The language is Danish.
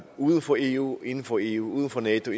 uden for eu og inden for eu uden for nato